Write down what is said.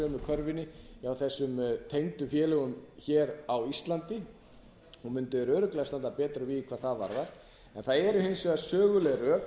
körfunni hjá þessum tengdu félögum hér á íslandi þá mundu þeir örugglega standa betur að vígi hvað það varðar það eru hins vegar söguleg rök hvort sem mönnum